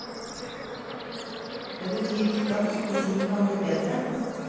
Det betyr ikke at ikke ting kan bli bedre.